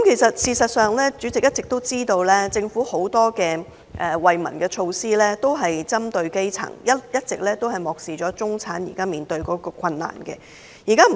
事實上，大家都知道，政府很多惠民措施，都是針對基層，一直都漠視中產所面對的困難。